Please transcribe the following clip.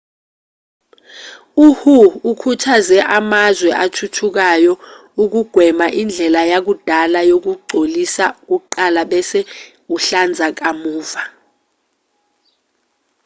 uhu ukhuthaze amazwe athuthukayo ukugwema indlela yakudala yokugcolisa kuqala bese uhlanza kamuva